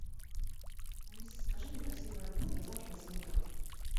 алиса закажи мне такси в аэропорт на завтра на семь утра